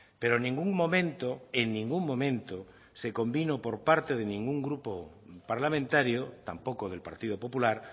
pero en ningún momento en ningún momento se convino por parte de ningún grupo parlamentario tampoco del partido popular